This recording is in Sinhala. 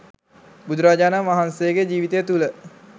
බුදුරජාණන් වහන්සේගේ ජීවිතය තුළ